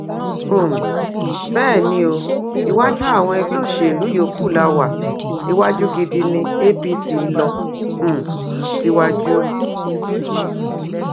um bẹẹ ni o iwájú àwọn ẹgbẹ òṣèlú yòókù la wá iwájú gidi ní apc lọ um síwájú